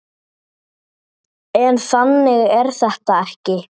En þannig er þetta ekki.